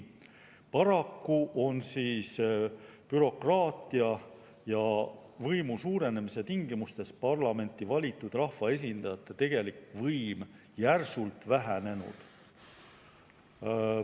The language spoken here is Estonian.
Paraku on bürokraatia ja võimu suurenemise tingimustes parlamenti valitud rahvaesindajate tegelik võim järsult vähenenud.